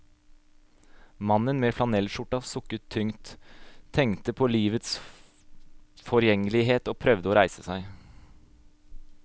Mannen med flanellsskjorta sukka tungt, tenkte på livets forgjengelighet og prøvde å reise seg.